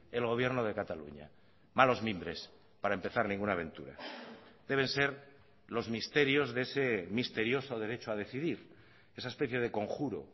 el gobierno de cataluña malos mimbres para empezar ninguna aventura deben ser los misterios de ese misterioso derecho a decidir esa especie de conjuro